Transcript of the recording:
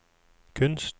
kunst